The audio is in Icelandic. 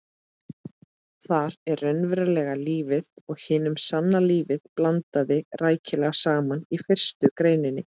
Þar er raunverulegu lífi og hinu sanna lífi blandað rækilega saman í fyrstu greininni.